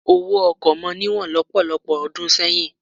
Owó ọkọ̀ mọ níwọ̀n lọ́pọ̀lọpọ̀ ọdún sẹ́yìn.